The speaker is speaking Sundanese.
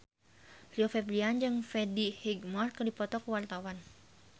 Rio Febrian jeung Freddie Highmore keur dipoto ku wartawan